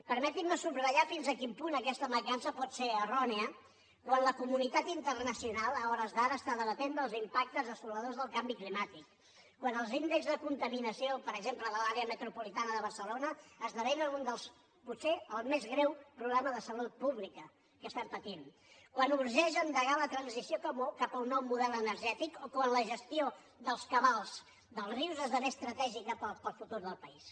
permetin me subratllar fins a quin punt aquesta mancança pot ser errònia quan la comunitat internacional a hores d’ara està debatent els impactes desoladors del canvi climàtic quan els índexs de contaminació per exemple de l’àrea metropolitana de barcelona esdevenen potser el més greu problema de salut pública que estem patint quan urgeix endegar la transició cap a un nou model energètic o quan la gestió dels cabals dels rius esdevé estratègica per al futur del país